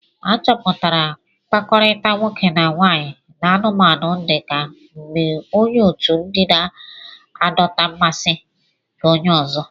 A chọpụtara mkpakọrịta nwoke na nwaanyị n'anụmanụ dị ka mgbe onye otu ụdị na-adọta mmasị nke onye ọzọ.